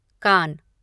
कान